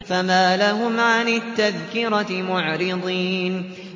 فَمَا لَهُمْ عَنِ التَّذْكِرَةِ مُعْرِضِينَ